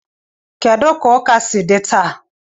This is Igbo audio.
Kedu ka ụka si dị taa?